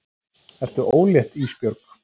Ertu ólétt Ísbjörg?